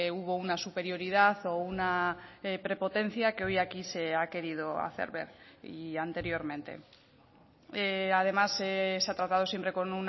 hubo una superioridad o una prepotencia que hoy aquí se ha querido hacer ver y anteriormente además se ha tratado siempre con